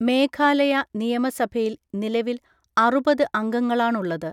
മേഘാലയ നിയമസഭയിൽ നിലവിൽ അറുപത് അംഗങ്ങളാണുള്ളത്.